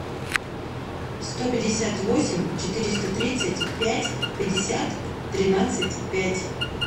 сто пятьдесят восемь четыреста тридцать пять пятьдесят тринадцать пять